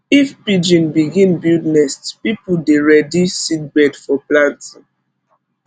if pigeon begin build nest people dey ready seedbed for planting